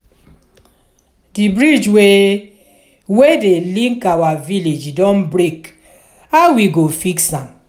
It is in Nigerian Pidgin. di bridge wey wey dey link our village don break how we go fix am?